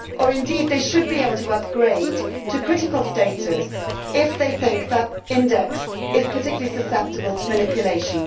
indeed they should be able to upgrade to critical status if they think that index is particularly susceptible to manipulation.